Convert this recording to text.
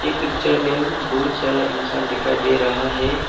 इस पिक्चर में बहुत सारा इंसान दिखाई दे रहा है।